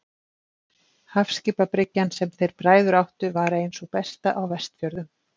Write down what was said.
Hafskipabryggjan, sem þeir bræður áttu, var ein sú besta á Vestfjörðum.